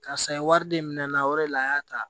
Karisa ye wari de minɛ na o de la a y'a ta